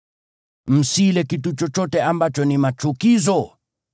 Msile kitu chochote ambacho ni machukizo.